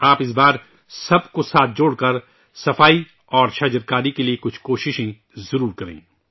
آپ ، اس بار سب کو ساتھ جوڑ کر سوچھتا اور شجرکاری کے لئے کچھ کوشش ضرور کریں